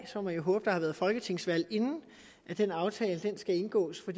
må jeg håbe at der har været folketingsvalg inden den aftale skal indgås for